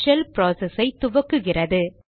shell process ஐ துவக்குகிறது